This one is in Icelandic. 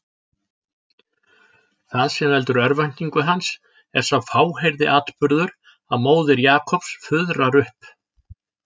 Það sem veldur örvæntingu hans er sá fáheyrði atburður að móðir Jakobs fuðrar upp.